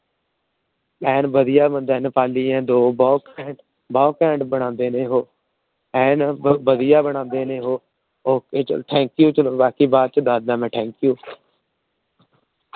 ਐਨ ਵਧੀਆ ਬੰਦਾ ਏ ਨੇਪਾਲੀ ਏ ਦੋ ਬਹੁਤ ਘੈਂਟ ਬਨਾਉਂਦੇ ਓਹੋ। ਐਨ ਵਧੀਆ ਬਨਾਉਂਦੇ ਨੇ ਓਹੋ । Ok ਚਲੋ Thanku ਬਾਕੀ ਬਾਅਦ ਚ Thanku ।